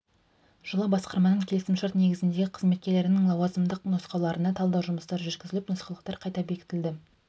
жылы басқарманың келесім шарт негізіндегі қызметкерлерінің лауазымдылық нұсқаулықтарына талдау жұмыстары жүргізіліп нұсқаулықтар қайта бекітілді